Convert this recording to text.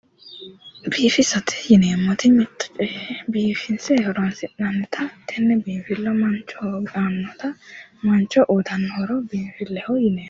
Biifisate yineemmoti mitto coye biifinse horonsi'neemmotta tenne biifisa manchoho uyittano horo biinfileho yineemmo